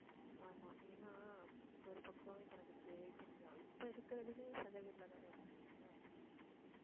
ஆமா ஏன்னா ஒரு பக்கம் இப்போ நமக்கு இப்போ இருக்குறதுலயே சொந்த வீட்டுல தானே இருக்கீங்க.